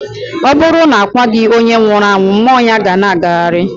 Ọ bụrụ na a kwaghị onye nwụrụ anwụ, mmụọ ya ga ana agagharị.